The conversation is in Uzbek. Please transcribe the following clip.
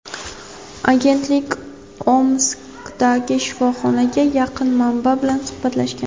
Agentlik Omskdagi shifoxonaga yaqin manba bilan suhbatlashgan.